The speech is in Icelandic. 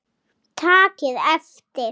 Takið eftir!